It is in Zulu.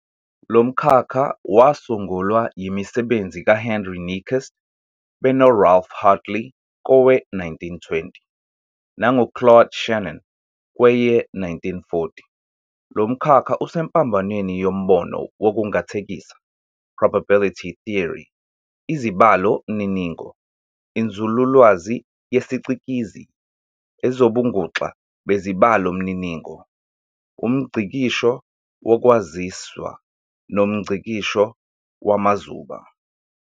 Lomkhakha wasungulwa yimisebenzi ka-Henry Nyquist beno-Ralph Hartley kowe-1920, nangu-Claude Shannon kweye-1940. Lomkhakha usempambanweni yombono wokungathekisa "probability theory", izibalomininingo, inzululwazi yesicikizi, ezobunguxa bezibalomininingo, umNgcikisho woKwaziswa, nomNgcikisho wamazuba.